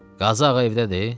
Qazıağa evdədir?